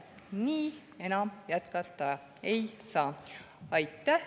Nii enam jätkata ei saa.